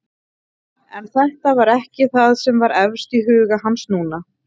En þetta var ekki það sem var efst í huga hans núna.